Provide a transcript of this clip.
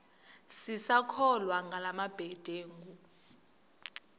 sisakholwa ngala mabedengu